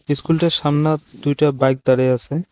ইস্কুলটার সামনে দুইটা বাইক দাঁড়িয়ে আছে।